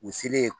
U selen